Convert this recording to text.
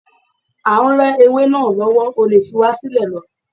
À ń re ewé náà lọ́wọ́, o lè fi wá sílẹ̀ lọ.